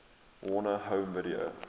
warner home video